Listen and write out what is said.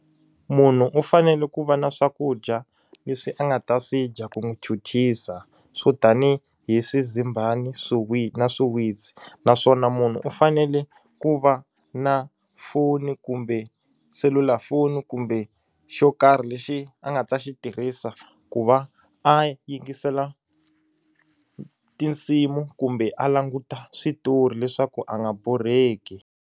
Munhu u fanele ku va na swakudya leswi a nga ta swi dya ku n'wi chuchisa swo tanihi hi swizimbani na swiwitsi naswona munhu u fanele ku va na foni kumbe selulafoni kumbe xo karhi lexi a nga ta xi tirhisa ku va a yingisela tinsimu kumbe a languta switori leswaku a nga borheki.